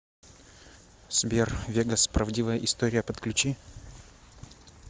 сбер вегас правдивая история подключи